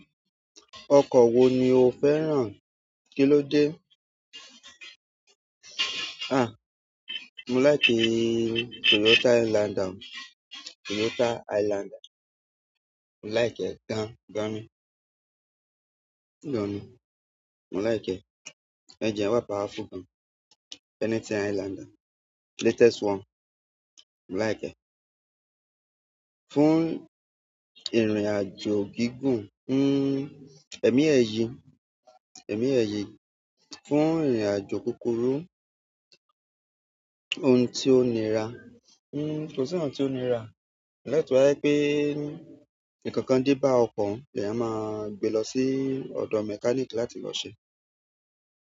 Ọkọ̀ wo ni o fẹ́ràn? Kí ló dé? À, mo laiki Toyota Highlander. Toyota Highlander. Mo láìki e gan-gan ni. Gan ni. Mo láìki ẹ. Ẹngine wà powerful gan. Anything Highlander, latest one, mo láìki ẹ. Fún ìrìn-àjò gígùn, hm, èmi ẹ̀ yí, èmi ẹ̀ yí. Fún ìrìn-àjò kúkúrú, ohun tí ó nira. Hm, kò sí ohun tí ó nira. Except to ba je pé, nkankan dé bá ọkọ̀ oun, leyan máa gbé lọ sí ọ̀dọ̀ mechanic láti lọ ṣe.